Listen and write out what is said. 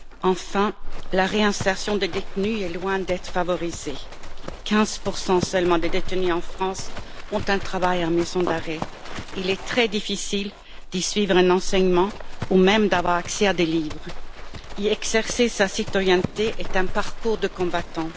Enfin, la réinsertion des détenus est loin d'être favorisée 15 seulement des détenus en France ont un travail en maison d'arrêt, il est très difficile d'y suivre un enseignement, ou même d'avoir accès à des livres, y exercer sa citoyenneté est un parcours de combattant.